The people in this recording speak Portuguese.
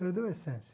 Perdeu a essência.